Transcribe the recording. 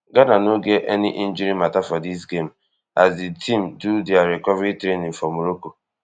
ghana no get any injury mata for dis game as di team do dia recovery training for morocco